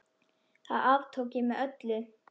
Það aftók ég með öllu.